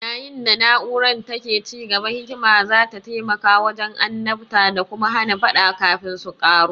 Yayin da na'urar take ci gaba, hikima za ta taimaka wajen annabta da kuma hana faɗa kafin su ƙaru.